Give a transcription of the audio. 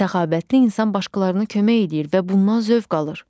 Səxavətli insan başqalarına kömək eləyir və bundan zövq alır.